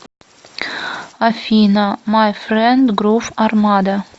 афина май френд грув армада